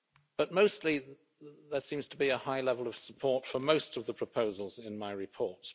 But mostly there seems to be a high level of support for most of the proposals in my report.